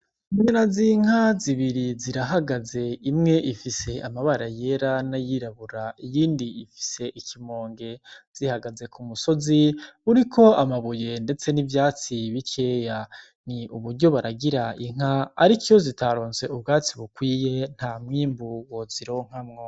Inyana z’Inka zibiri zirahagaze imwe ifise amabara yera na yirabura iyindi ifise ikimōnge zihagaze kumusozi uriko amabuye ndetse nivyatsi bikeya ni uburyo baragira Inka ariko iyo zitaronse ubwatsi bukwiye ntamwimbu wozironkamwo.